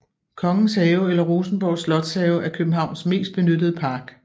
Kongens Have eller Rosenborg Slotshave er Københavns mest benyttede park